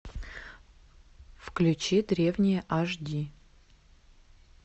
включи древние аш ди